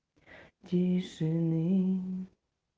тишины